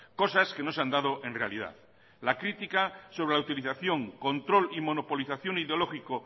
cosas que no se han dado en realidad la crítica sobre la utilización control y monopolización ideológico